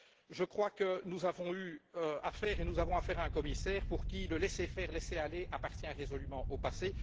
Je crois que nous avons eu affaire, et que nous avons affaire, à un commissaire pour qui le laissez faire, le laissez passer, appartient résolument au